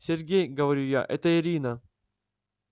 сергей говорю я это ирина